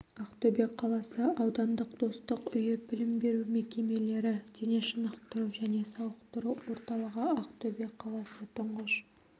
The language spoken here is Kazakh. ақтөбе қаласы аудандық достық үйі білім беру мекемелері дене шынықтыру және сауықтыру орталығы ақтөбе қаласы тұңғыш